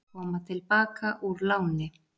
Koma til baka úr láni